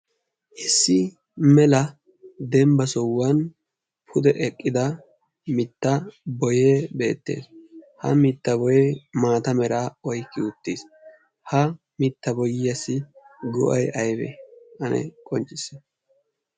issi mela dembba sohuwan pude eqqida mitta boye beettees ha mitta boye maata mera oikki uttiis. ha mitta boyiyassi go'ay ayba ane qonccisi?